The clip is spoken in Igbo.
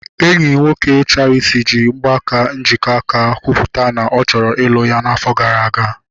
Enyi nwoke Charity ji mgbaaka njikọaka kwupụta na ọ chọrọ ịlụ ya afọ gara aga